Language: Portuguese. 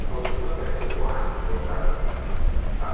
O conjunto terminou acidentalmente, tá?